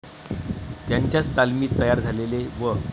त्यांच्याच तालमीत तयार झालेले व.